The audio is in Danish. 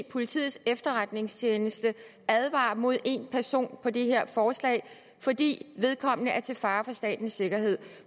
politiets efterretningstjeneste advarer mod en person på det her forslag fordi vedkommende er til fare for statens sikkerhed